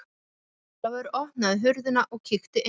Jón Ólafur opnaði hurðina og kíkti inn.